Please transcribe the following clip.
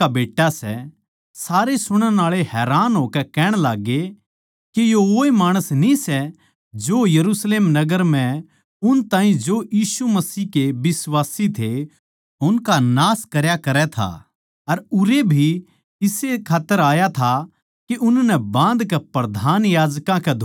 सारे सुणण आळे हैरान होकै कहण लाग्गे के यो वोए माणस न्ही सै जो यरुशलेम नगर म्ह उन ताहीं जो यीशु मसीह के बिश्वासी थे उनका नाश करया करै था अर उरै भी इस्से खात्तर आया था के उननै बाँधकै प्रधान याजकां कै धोरै ले जावै